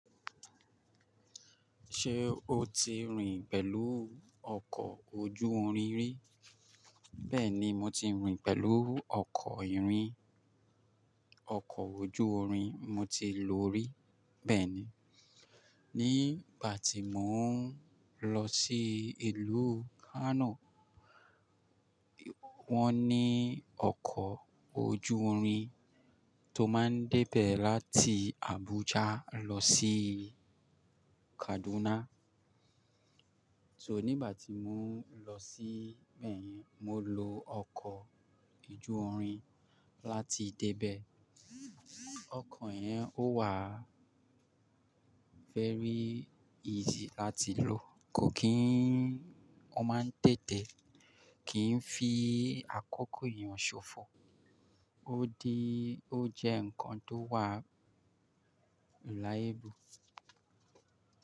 Ṣé o ti rìn pẹ̀lú ọkọ̀ ojú orin rí? Bẹ́ẹ̀ni, mo ti rìn pẹ̀lú ọkọ̀ ìrìn, ọkọ̀ ojú orin mo ti lò rí. Bẹ́ẹ̀ni, nígbà tí mò ń lọ sí ìlú Kano, wọ́n ní ọkọ̀ ojú orin tó máa ń dẹ́bẹ́ láti Abuja lọ sí Kaduna. So nígbà tí mò ń lọ sí bẹ́ẹ̀ yẹni, mo lo ọkọ̀ ojú orin láti debẹ. Ọkọ̀ ẹ̀ ń ó wà very easy láti lò. Kò kí n ó máa ń tètè, kì ń fi àkókò èèyàn ṣofo. Ó di, ó jẹ́ nǹkan tó wà reliable.